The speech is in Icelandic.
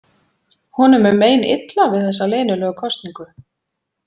Honum er meinilla við þessa leynilegu kosningu.